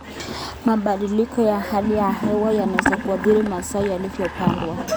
Mabadiliko ya hali ya hewa yanaweza kuathiri mazao yaliyopandwa.